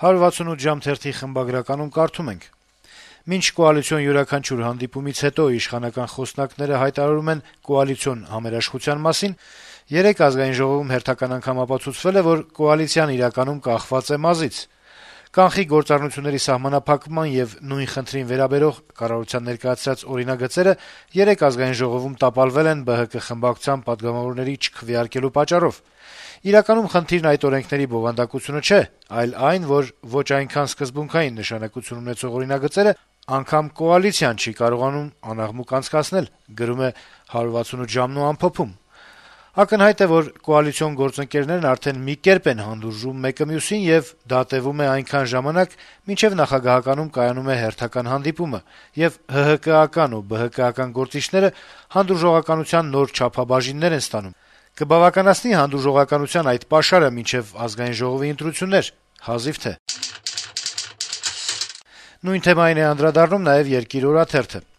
«168 ժամ» թերթի խմբագրականում կարդում ենք. - «Մինչ կոալիցիոն յուրաքանչյուր հանդիպումից հետո իշխանական խոսնակները հայտարարում են «կոալիցիոն համերաշխության» մասին, երեկ ԱԺ-ում հերթական անգամ ապացուցվել է, որ կոալիցիան իրականում կախված է մազից: «Կանխիկ գործառնությունների սահմանափակման» եւ նույն խնդրին վերաբերող` կառավարության ներկայացրած օրինագծերը երեկ ԱԺ-ում տապալվել են ԲՀԿ խմբակցության պատգամավորների չքվեարկելու պատճառով: Իրականում խնդիրն այդ օրենքների բովանդակությունը չէ, այլ այն, որ ոչ այնքան սկզբունքային նշանակություն ունեցող օրինագծերն անգամ կոալիցիան չի կարողանում անաղմուկ անցկացնել»: «Ակնհայտ է, որ կոալիցիոն գործընկերներն արդեն մի կերպ են հանդուրժում մեկը մյուսին, եւ դա տեւում է այնքան ժամանակ, մինչեւ նախագահականում կայանում է հերթական հանդիպումը, եւ ՀՀԿ-ական ու ԲՀԿ-ական գործիչները «հանդուրժողականության» նոր չափաբաժիններ են ստանում: Կբավականացնի՞ հանդուրժողականության այդ «պաշարը» մինչեւ ԱԺ ընտրություններ: Հազիվ թե», - ամփոփում է թերթը: Նույն թեմային է անդրադառնում նաեւ «Երկիր» օրաթերթը. -